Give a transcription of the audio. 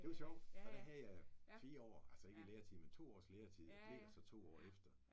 Det var sjovt. Og der havde jeg 4 år altså ikke i læretid men 2 års læretid og blev der så 2 år efter